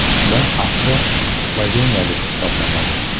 Ular asli sloveniyalik hisoblanadi.